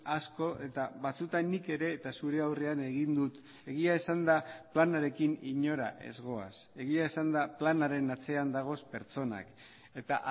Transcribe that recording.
asko eta batzuetan nik ere eta zure aurrean egin dut egia esanda planarekin inora ez goaz egia esanda planaren atzean dagoz pertsonak eta